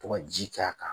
To ka ji k'a kan